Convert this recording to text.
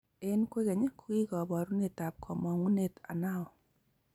Eng kwekeny, kokikoboruetab komongunet Anao,